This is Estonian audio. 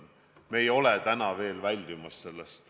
Me ei ole täna sellest veel väljumas.